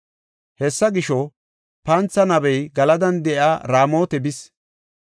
Hessa gisho, pantha nabey Galadan de7iya Raamota bis.